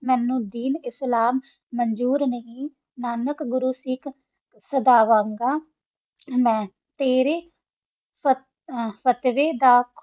ਮੇਨੋ ਦਿਨ ਇਸਲਾਮ ਮੰਜੂਰ ਨਹੀ ਨਾਨਕ ਗੁਰੋ ਸਿਖ ਸਦਾ ਵੰਡਾ ਤੇਰਾ ਫ਼ਤਵਾ ਦਾ